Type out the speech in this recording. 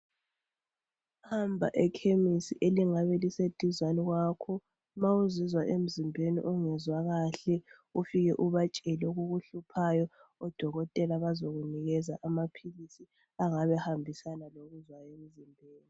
Hamba ekhemisi elingabe liseduzane kwakho ma uzizwa emzimbeni ungezwa kahle ufike ubatshele okukuhluphayo. Odokotela bazakunikeza amaphilisi angabe ehambisana lokuzwayo emzimbeni.